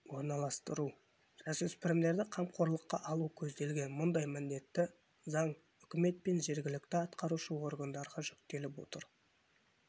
орналастыру жасөспірімдерді қамқорлыққа алу көзделген мұндай міндетті заң үкімет пен жергілікті атқарушы органдарға жүктеліп отыр